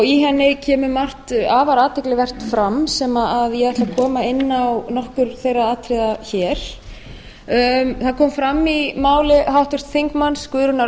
í henni kemur afar margt athyglivert fram sem ég ætla að koma inn á nokkur þeirra atriða hér það kom fram í mál háttvirts þingmanns guðrúnar